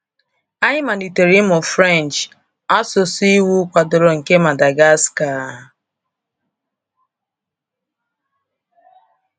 Anyị malitere ịmụ French, asụsụ iwu kwadoro nke Madagascar.